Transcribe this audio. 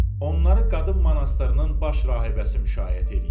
Onları qadın monastırının baş rahibəsi müşayiət eləyirdi.